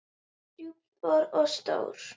Djúp spor og stór.